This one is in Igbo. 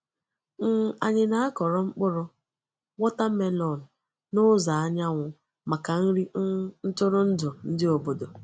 um Anyị na-akọrọ mkpụrụ watermelon n’ụzọ anyanwụ maka nri um ntụrụndụ ndị obodo.